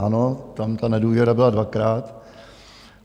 Ano, tam ta nedůvěra byla dvakrát.